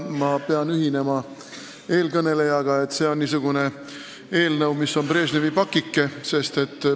Ma pean ühinema eelkõnelejaga, et see on niisugune eelnõu, mis on nagu Brežnevi pakike.